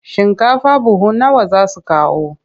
Shinkafa buhu nawa za su kawo?